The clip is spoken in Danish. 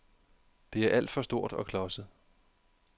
Det er alt for stort og klodset.